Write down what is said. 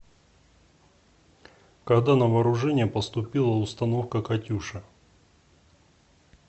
когда на вооружение поступила установка катюша